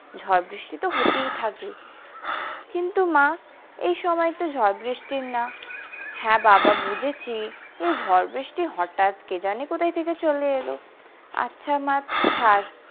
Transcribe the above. ঝড় বৃষ্টি তো হতেই থাকে কিন্তু মা এই সময় তো ঝড় বৃষ্টির না হ্যাঁ বাবা বুঝেছি এই ঝড় বৃষ্টি হটাৎ কে জানে কোথা থেকে চলে এলো আচ্ছা মা ছাড়।